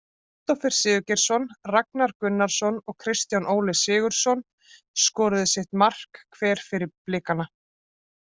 Kristófer Sigurgeirsson, Ragnar Gunnarsson og Kristján Óli Sigurðsson skoruðu sitt markið hver fyrir Blikana.